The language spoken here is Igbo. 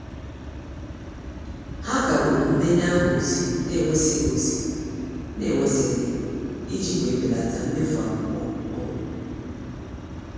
Ha kagburu ndenye aha ozi n'enwesighi ozi n'enwesighi i ji wee belata mmefu akwụkwọ n'ụlọ.